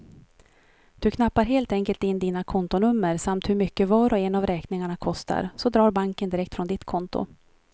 Du knappar helt enkelt in dina kontonummer samt hur mycket var och en av räkningarna kostar, så drar banken direkt från ditt konto.